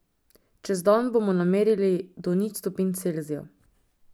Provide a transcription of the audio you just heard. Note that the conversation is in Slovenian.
Čez dan bomo namerili do nič stopinj Celzija.